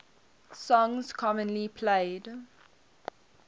songs commonly played